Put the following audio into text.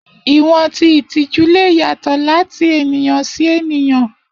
Iwọn ti itiju le yatọ lati eniyan si eniyan.